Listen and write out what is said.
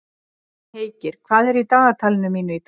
Heikir, hvað er í dagatalinu mínu í dag?